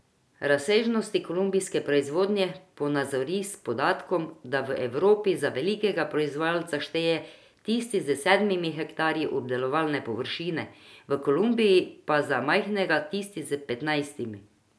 Razsežnosti kolumbijske proizvodnje ponazori s podatkom, da v Evropi za velikega proizvajalca šteje tisti s sedmimi hektarji obdelovalne površine, v Kolumbiji pa za majhnega tisti s petnajstimi.